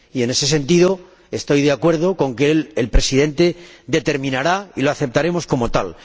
Y, en ese sentido, estoy de acuerdo con que sea el Presidente quien determine y lo aceptaremos como tal.